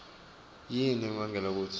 yini lebangela kutsi